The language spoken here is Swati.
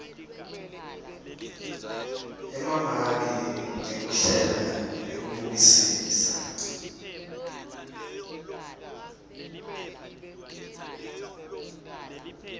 emamaki ngekuhlela nekubukisisa